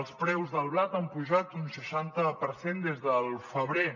els preus del blat han pujat un seixanta per cent des del febrer